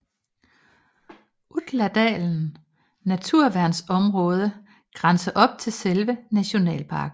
Utladalen naturværnsområde grænser op til selve nationalparken